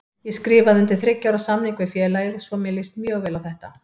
Ég skrifaði undir þriggja ára samning við félagið svo mér líst mjög vel á þetta.